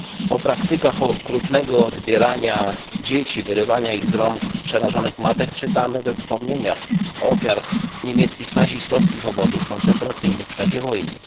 O praktykach okrutnego odbierania dzieci, wyrywania ich z rąk przerażonych matek czytamy we wspomnieniach ofiar niemieckich nazistowskich obozów koncentracyjnych w czasie wojny.